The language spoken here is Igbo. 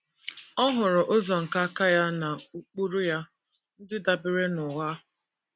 Ọ họọrọ ụzọ nke aka ya na ụkpụrụ ya ndị dabeere n’ụgha.